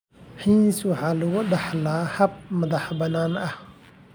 HERNS waxa lagu dhaxlaa hab madax-bannaani ah.